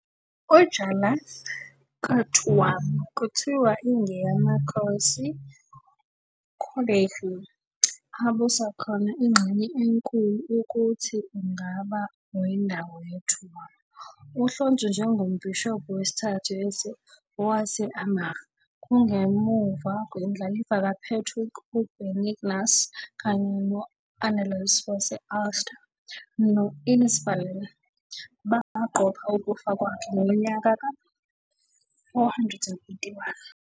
Jarlath ka Tuam kuthiwa ingeyamakhosi Conmhaícne, abusa khona ingxenye enkulu ukuthi ungaba wendawo ye Tuam. Uhlonzwa njengoMbhishobhi wesithathu wase-Armagh, kungemuva kwendlalifa kaPatrick uBenignus kanye no- "Annals wase-Ulster" no- "Innisfallen" baqopha ukufa kwakhe ngonyaka ka-481.